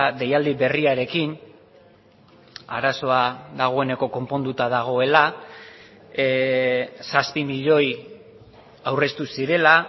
deialdi berriarekin arazoa dagoeneko konponduta dagoela zazpi milioi aurreztu zirela